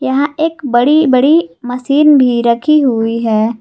यहां एक बड़ी बड़ी मशीन भी रखी हुई है।